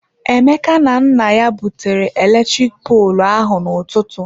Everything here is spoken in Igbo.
Emeka na nna ya butere eletrik poolụ ahụ na-ụtụtụ.